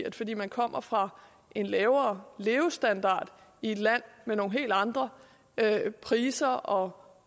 at fordi man kommer fra en lavere levestandard i et land med nogle helt andre priser og